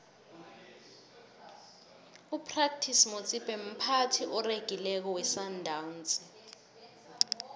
upratice motsipe mphathi oregileko wesandawnsi